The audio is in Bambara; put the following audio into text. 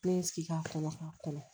Ne ye n sigi k'a kɔnɔ ka kɔnɔ